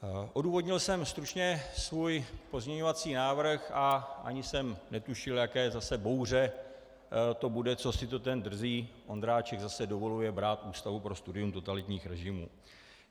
Odůvodnil jsem stručně svůj pozměňovací návrh a ani jsem netušil, jaká zase bouře to bude, co si to ten drzý Ondráček zase dovoluje brát Ústavu pro studium totalitních režimů.